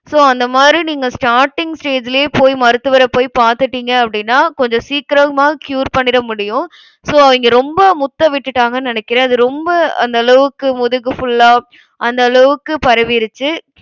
so அந்த மாதிரி நீங்க starting stage லயே போய் மருத்துவரை போய் பார்த்துட்டிங்க அப்டினா கொஞ்சம் சீக்கிரமா cure பண்ணிடமுடியும். so அவிங்க ரொம்ப முத்தவிட்டுட்டாங்கன்னு நினைக்கிறேன். அது ரொம்ப அந்த அளவுக்கு, முதுகு full ஆ அந்தளவுக்கு பரவியிருச்சு.